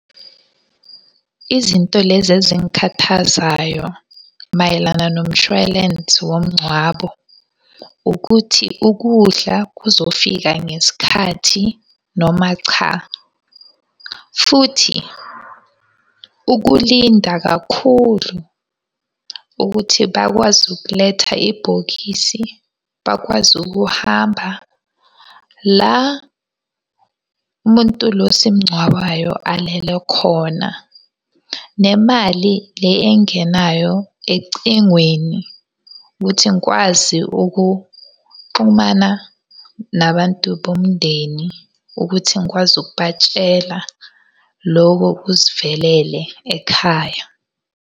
Izinto lezi ezingikhathazayo mayelana nomshwalensi womngcwabo, ukuthi ukudla kuzofika ngesikhathi noma cha. Futhi ukulinda kakhulu ukuthi bakwazi ukuletha ibhokisi, bakwazi ukuhamba la Umuntu lo esimungcwabayo alele khona. Nemali le engenayo ecingweni ukuthi ngikwazi ukuxhumana nabantu bomndeni, ukuthi ngikwazi ukubatshela loko kusivelele ekhaya.